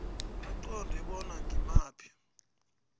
baqunte bona ngimaphi